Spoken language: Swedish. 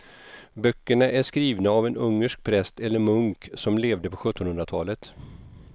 Böckerna är skrivna av en ungersk präst eller munk som levde på sjuttonhundratalet.